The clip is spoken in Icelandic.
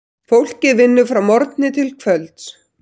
Fólkið vinnur frá morgni til kvölds.